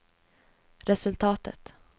resultatet